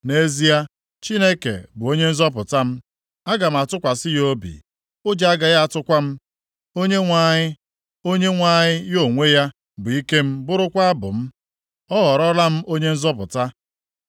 Nʼezie, Chineke bụ onye nzọpụta m; aga m atụkwasị ya obi, ụjọ agaghị atụkwa m. Onyenwe anyị, Onyenwe anyị ya onwe ya, bụ ike m bụrụkwa abụ m, ọ ghọrọla m onye nzọpụta.”